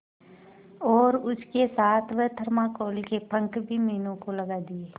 और उसके साथ वह थर्माकोल के पंख भी मीनू को लगा दिए